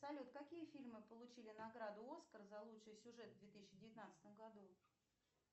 салют какие фильмы получили награду оскар за лучший сюжет в две тысячи девятнадцатом году